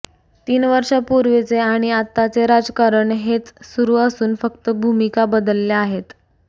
तीन वर्षापूर्वीचे आणि आत्ताचे राजकारण हेच सुरू असून फक्त भूमिका बदलल्या आहेत